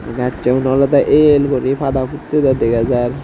gassun awlwdey el guri pada puttedey dega jar.